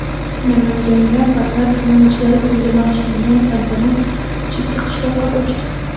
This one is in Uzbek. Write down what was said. Namanganda Vatan himoyachilari kuniga bag‘ishlangan tantana chekka qishloqqa ko‘chdi.